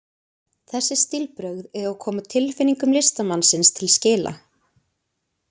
Þessi stílbrögð eiga að koma tilfinningum listamannsins til skila.